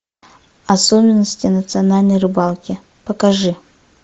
особенности национальной рыбалки покажи